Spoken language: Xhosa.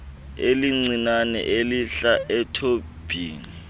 elincinane elihla ethobhini